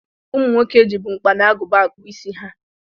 Ụmụ nwoke jibu mkpa na agụba akpụ isi ha.